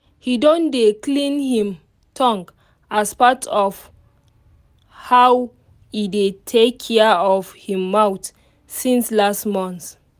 he don dey clean him tongue as part of how e dey takia of him mouth since last month